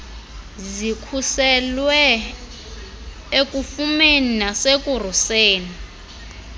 zikhuselwe ekufumeni nasekuruseni